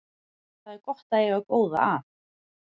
Það er gott að eiga góða að.